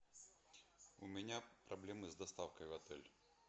у меня проблемы с доставкой в отель